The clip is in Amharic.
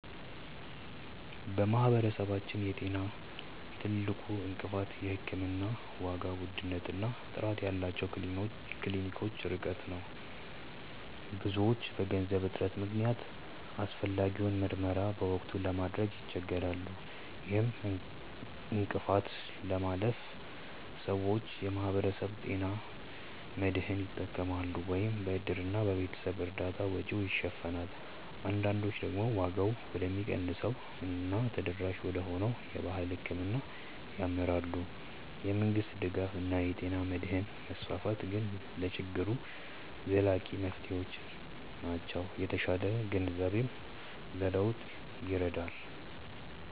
በማህበረሰባችን የጤና ትልቁ እንቅፋት የሕክምና ዋጋ ውድነት እና ጥራት ያላቸው ክሊኒኮች ርቀት ነው። ብዙዎች በገንዘብ እጥረት ምክንያት አስፈላጊውን ምርመራ በወቅቱ ለማድረግ ይቸገራሉ። ይህን እንቅፋት ለማለፍ ሰዎች የማህበረሰብ ጤና መድህን ይጠቀማሉ፤ ወይም በእድርና በቤተሰብ እርዳታ ወጪውን ይሸፍናሉ። አንዳንዶች ደግሞ ዋጋው ወደሚቀንሰው እና ተደራሽ ወደሆነው የባህል ሕክምና ያመራሉ። የመንግስት ድጋፍ እና የጤና መድህን መስፋፋት ግን ለችግሩ ዘላቂ መፍትሄዎች ናቸው። የተሻለ ግንዛቤም ለለውጥ ይረዳል።